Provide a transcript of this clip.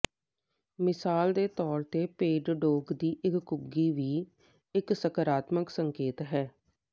ਮਿਸਾਲ ਦੇ ਤੌਰ ਤੇ ਭੇਡਡੋਗ ਦੀ ਇੱਕ ਘੁੱਗੀ ਵੀ ਇੱਕ ਸਕਾਰਾਤਮਕ ਸੰਕੇਤ ਹੈ